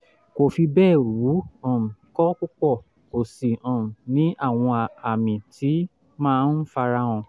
kò fi bẹ́ẹ̀ wú um kò pupa kò sì um ní àwọn àmì tó máa ń fara hàn